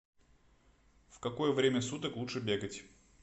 в какое время суток лучше бегать